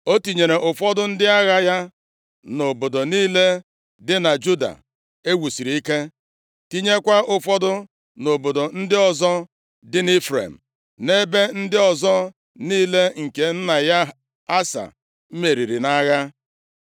O tinyere ụfọdụ ndị agha ya nʼobodo niile dị na Juda e wusiri ike, tinyekwa ụfọdụ nʼobodo ndị ọzọ dị nʼIfrem, na ebe ndị ọzọ niile nke nna ya, Asa meriri nʼagha.